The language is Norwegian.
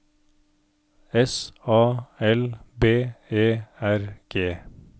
S A L B E R G